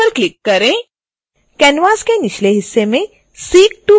canvas के निचले हिस्से में seek to begin पर क्लिक करें